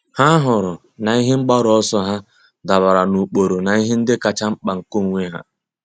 Há hụrụ na ihe mgbaru ọsọ ha dabara n’ụ́kpụ́rụ́ na ihe ndị kacha mkpa nke onwe ha.